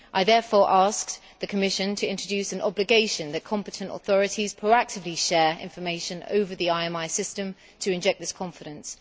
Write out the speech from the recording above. I therefore asked the Commission to introduce an obligation that competent authorities proactively share information over the IMI system to inject this confidence.